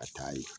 A taa ye